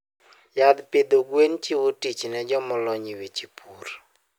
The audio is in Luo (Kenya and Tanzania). Yath pidho gwen chiwo tich ne joma olony e weche pur.